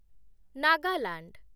Nagaland